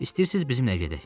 İstəyirsiniz bizimlə gedək?